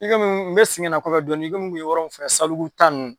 I komi n bɛ segin ka na kɔfɛ dɔɔnin i komi n tun yɔrɔ min filɛ Sabalibugu ta ninnu.